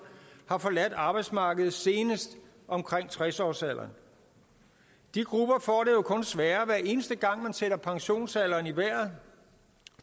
har forladt arbejdsmarkedet senest omkring tres årsalderen de grupper får det jo kun sværere hver eneste gang man sætter pensionsalderen i vejret